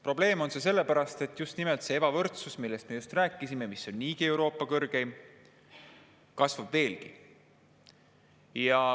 Probleem on see sellepärast, et just nimelt see ebavõrdsus, millest me äsja rääkisime, mis on niigi Euroopa kõrgeim, kasvab veelgi.